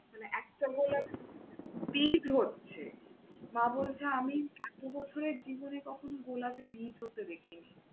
মানে এত্তো গোলাপ বীজ হচ্ছে, মা বলছে আমি এতো বছরের জীবনে কখনো গোলাপের বীজ হতে দেখিনি।